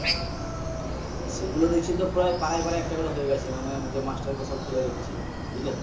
সেগুলো দেখছি তো প্রায় পাড়ায় পাড়ায় একটা করে হয়ে গেছে মানে master গুলো সব খুলে রেখেছে বুঝলে?